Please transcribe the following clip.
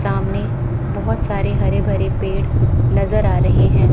सामने बहुत सारे हरे भरे पेड़ नज़र आ रहे हैं।